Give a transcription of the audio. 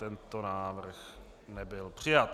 Tento návrh nebyl přijat.